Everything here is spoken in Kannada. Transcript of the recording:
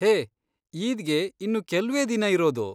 ಹೇ, ಈದ್ಗೆ ಇನ್ನು ಕೆಲ್ವೇ ದಿನ ಇರೋದು.